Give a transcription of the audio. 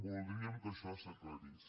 voldríem que això s’aclarís